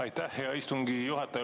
Aitäh, hea istungi juhataja!